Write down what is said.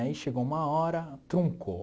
Aí chegou uma hora, truncou.